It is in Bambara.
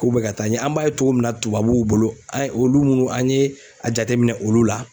K'u bɛ ka taa ɲɛ an b'a ye cogo min na tubabuw bolo an ye olu mun an ye a jateminɛ olu la